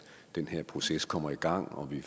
den her proces kommer i gang og vi